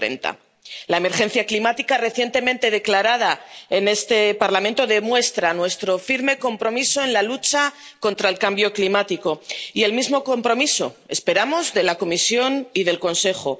2030. La emergencia climática, recientemente declarada en este Parlamento, demuestra nuestro firme compromiso en la lucha contra el cambio climático, y el mismo compromiso esperamos de la Comisión y del Consejo.